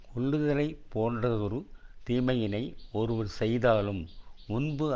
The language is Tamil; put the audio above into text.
கொல்லுதலைப் போன்றதொரு தீமையினை ஒருவர் செய்தாலும் முன்பு